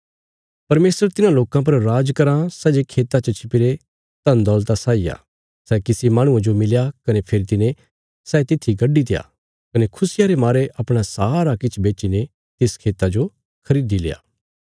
परमेशर तिन्हां लोकां पर राज कराँ सै जे खेता च छिपीरे धनदौलता साई आ सै किसी माहणुये जो मिलया कने फेरी तिने सै तित्थी गड्डीत्या कने खुशिया रे मारे अपणा सारा किछ बेच्चीने तिस खेता जो खरीदिल्या